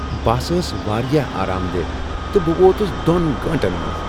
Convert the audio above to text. بس ٲس واریاہ آرام دہ تہٕ بہٕ ووتس دوٚن گٲنٛٹن منٛز۔